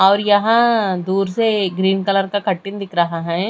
और यहां दूर से ग्रीन कलर का कटिन दिख रहा है।